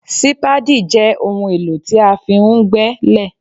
Sípáádì jẹ́ ohun èlò tí a fi ń gbé lẹ̀